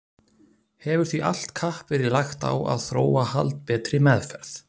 Hefur því allt kapp verið lagt á að að þróa haldbetri meðferð.